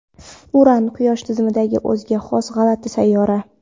Uran – Quyosh tizimidagi o‘ziga xos g‘alati sayyora.